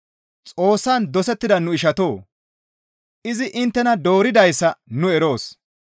Xoossan dosettida nu ishatoo! Izi inttena dooridayssa nu eroos.